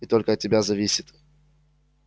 и только от тебя зависит